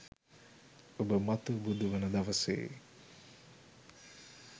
ඔබ මතු බුදු වන දවසේ